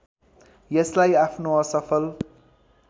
यसलाई आफ्नो असफल